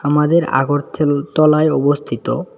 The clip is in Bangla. আমাদের আগর থেল তলায় অবস্থিত।